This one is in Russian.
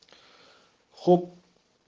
хоп